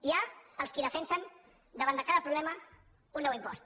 hi ha els qui defensen davant de cada problema un nou impost